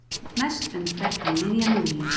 Mest umferð um miðjan júlí